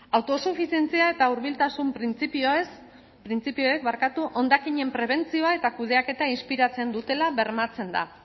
autosufizientzia eta hurbiltasun printzipioez printzipioek barkatu hondakinen prebentzioa eta kudeaketa inspiratzen dutela bermatzen da